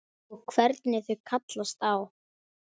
Og hvernig þau kallast á.